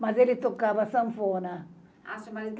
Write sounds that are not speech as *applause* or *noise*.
Mas ele tocava sanfona. *unintelligible*